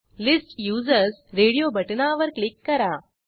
list users radio बटणावर click करा